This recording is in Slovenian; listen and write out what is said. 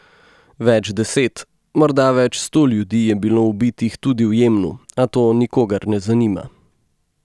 Več deset, morda več sto ljudi je bilo ubitih tudi v Jemnu, a to nikogar ne zanima.